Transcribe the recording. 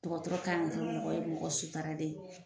Dɔgɔtɔrɔ kan ka kɛ mɔgɔ ye mɔgɔ sutaralen